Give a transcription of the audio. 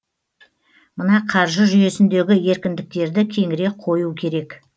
мына қаржы жүйесіндегі еркіндіктерді кеңірек қою керек